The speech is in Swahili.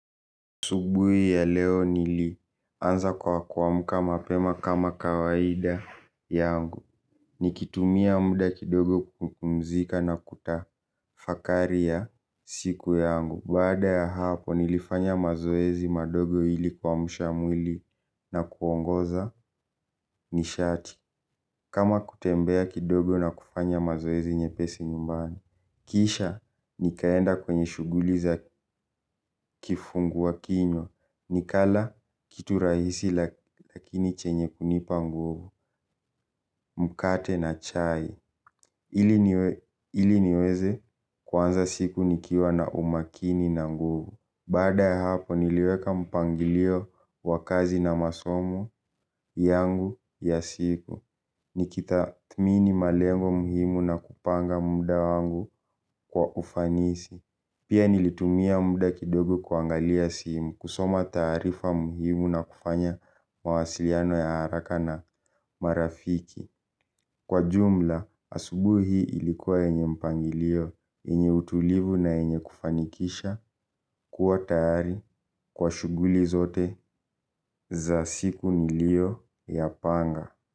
Asubuhi ya leo nilianza kwa kuamka mapema kama kawaida yangu. Nikitumia muda kidogo kupumzika na kutafakari ya siku yangu. Baada ya hapo, nilifanya mazoezi madogo ili kuamsha mwili na kuongoza nishati. Kama kutembea kidogo na kufanya mazoezi nyepesi nyumbani. Kisha, nikaenda kwenye shughuli za kifungua kinywa. Ni kala kitu rahisi lakini chenye kunipa nguvu. Mkate na chai ili niweze kuanza siku nikiwa na umakini na nguvu. Baada hapo niliweka mpangilio wa kazi na masomo yangu ya siku. Nikitathmini malengo muhimu na kupanga muda wangu kwa ufanisi. Pia nilitumia muda kidogo kuangalia simu. Kusoma taarifa muhimu na kufanya mawasiliano ya haraka na marafiki. Kwa jumla, asubuhi hii ilikuwa yenye mpangilio, yenye utulivu na yenye kufanikisha, kuwa tayari, kwa shughuli zote za siku niliyo ya panga.